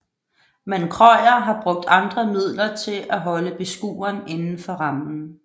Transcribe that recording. Men Krøyer har brugt andre midler til at holde beskueren inden for rammen